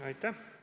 Aitäh!